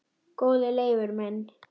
Góði Leifur minn,